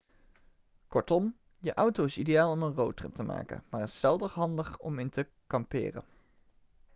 kortom je auto is ideaal om een roadtrip te maken maar is zelden handig om in te kamperen'